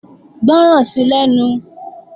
Gbọ́ràn sí lẹ́nu!